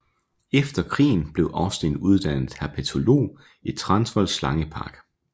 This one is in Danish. Efter krigen blev Austin uddannet herpetolog i Transvaal Slange Park